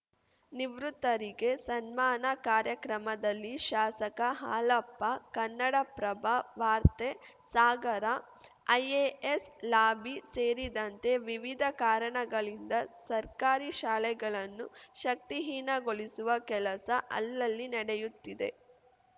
ನಿವೃತ್ತರಿಗೆ ಸನ್ಮಾನ ಕಾರ್ಯಕ್ರಮದಲ್ಲಿ ಶಾಸಕ ಹಾಲಪ್ಪ ಕನ್ನಡಪ್ರಭ ವಾರ್ತೆ ಸಾಗರ ಐಎಎಸ್‌ ಲಾಬಿ ಸೇರಿದಂತೆ ವಿವಿಧ ಕಾರಣಗಳಿಂದ ಸರ್ಕಾರಿ ಶಾಲೆಗಳನ್ನು ಶಕ್ತಿಹೀನಗೊಳಿಸುವ ಕೆಲಸ ಅಲ್ಲಲ್ಲಿ ನಡೆಯುತ್ತಿದೆ